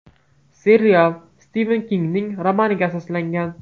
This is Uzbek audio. Serial Stiven Kingning romaniga asoslangan.